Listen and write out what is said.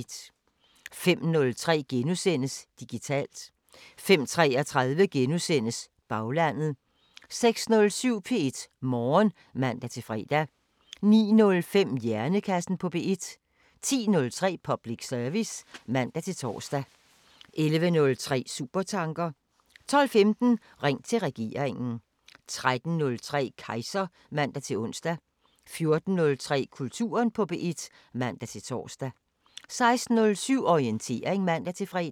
05:03: Digitalt * 05:33: Baglandet * 06:07: P1 Morgen (man-fre) 09:05: Hjernekassen på P1 10:03: Public service (man-tor) 11:03: Supertanker 12:15: Ring til regeringen 13:03: Kejser (man-ons) 14:03: Kulturen på P1 (man-tor) 16:07: Orientering (man-fre)